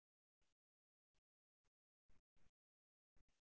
lunch க்கு lunch க்கு வந்து பாத்திங்கனா veg அஹ் குடுதுடுங்க ஆஹ்